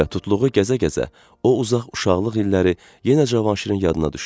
Və tutluğu gəzə-gəzə o uzaq uşaqlıq illəri yenə Cavanşirin yadına düşdü.